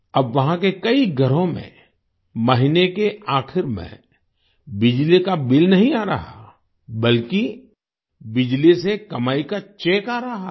अब वहां के कई घरों में महीने के आखिर में बिजली का बिल नहीं आ रहा बल्कि बिजली से कमाई का चेक आ रहा है